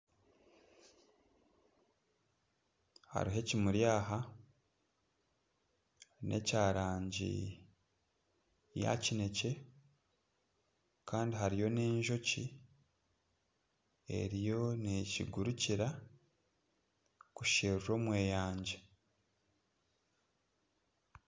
Hariho ekimuri aha n'eky'erangi yakinekye kandi hariyo n'enjoki eriyo nekigurukira kusherura omweyangye.